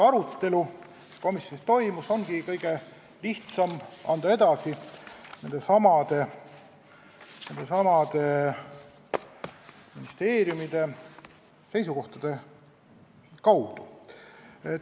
Arutelu, mis komisjonis toimus, ongi kõige lihtsam anda edasi nendesamade ministeeriumite seisukohtade kaudu.